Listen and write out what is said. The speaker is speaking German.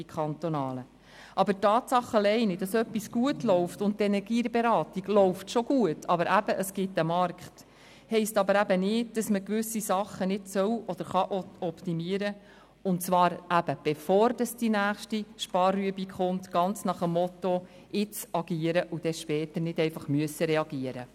Aber allein die Tatsache, dass etwas gut läuft – und die Energieberatung läuft schon gut, es gibt einen Markt –, bedeutet nicht, dass man gewisse Sachen nicht optimieren soll oder kann, und zwar bevor die nächste Sparübung kommt, ganz nach dem Motto: Jetzt agieren, um dann später nicht reagieren zu müssen.